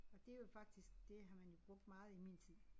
Og det jo faktisk det har man jo brugt meget i min tid